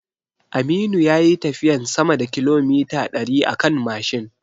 Aminu yayi tafiyan sama da kilomita ɗari akan Mashin